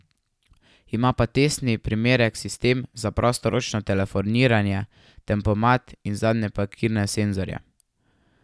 Ima pa testni primerek sistem za prostoročno telefoniranje, tempomat in zadnje parkirne senzorje.